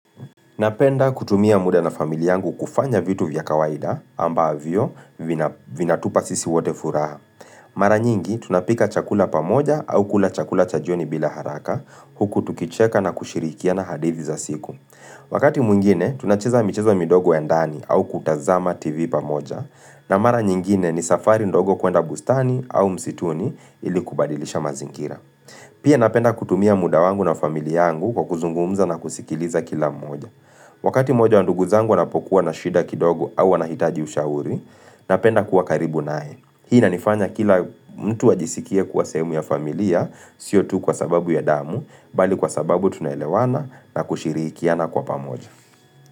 Napenda kutumia muda na familia yangu kufanya vitu vya kawaida ambavyo vinatupa sisi wote furaha. Mara nyingi tunapika chakula pamoja au kula chakula cha joni bila haraka huku tukicheka na kushirikiana hadithi za siku. Wakati mwingine tunacheza michezo midogo ya ndani au kutazama tv pamoja na mara nyingine ni safari ndogo kuenda bustani au msituni ili kubadilisha mazingira. Pia napenda kutumia muda wangu na familia yangu kwa kuzungumza na kusikiliza kila mmoja. Wakati moja wa ndugu zangu wanapokuwa na shida kidogo au wanahitaji ushauri, napenda kuwa karibu nao. Hii inanifanya kila mtu ajisikie kuwa sehemu ya familia, sio tu kwa sababu ya damu, bali kwa sababu tunaelewana na kushirikiana kwa pamoja.